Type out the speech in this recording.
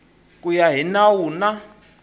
ku ya hi nawu na